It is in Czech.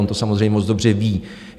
On to samozřejmě moc dobře ví.